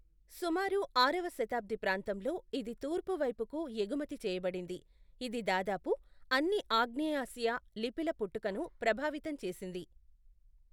సుమారు ఆరవ శతాబ్ధి ప్రాంతంలో, ఇది తూర్పు వైపుకు ఎగుమతి చేయబడింది, ఇది దాదాపు అన్ని ఆగ్నేయాసియా లిపిల పుట్టుకను ప్రభావితం చేసింది.